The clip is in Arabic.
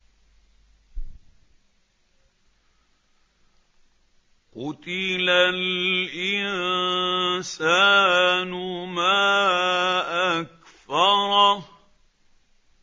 قُتِلَ الْإِنسَانُ مَا أَكْفَرَهُ